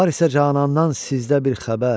Var isə canandan sizdə bir xəbər.